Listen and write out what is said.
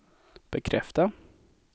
bekräfta